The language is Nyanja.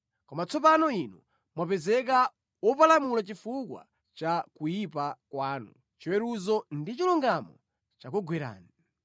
Koma tsopano inu mwapezeka wopalamula chifukwa cha kuyipa kwanu; chiweruzo ndi chilungamo chakugwerani.